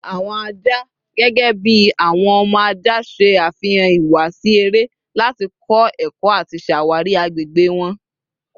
Awọn aja, gẹgẹbi awọn ọmọ aja, ṣe afihan ihuwasi ere lati kọ ẹkọ ati ṣawari agbegbe wọn